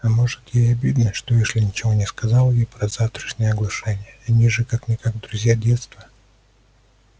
а может ей обидно что эшли ничего не сказал ей про завтрашнее оглашение они же как-никак друзья детства